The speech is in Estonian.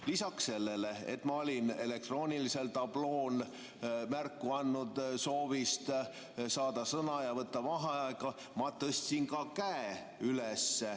Lisaks sellele, et ma olin elektroonilisel tablool märku andnud soovist saada sõna ja võtta vaheaega, ma tõstsin ka käe üles.